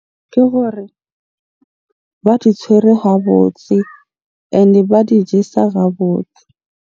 Ke hore ba di tshwere ha botse, ene ba di jesa botse.